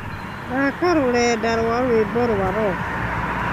thaaka rũrenda rwa rwĩmbo rwa rock